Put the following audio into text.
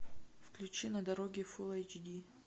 включи на дороге фул эйч ди